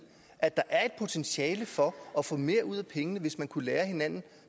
at der er et potentiale for at få mere ud af pengene hvis man kunne lære af hinanden